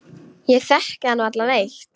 Ég þekki hann varla neitt.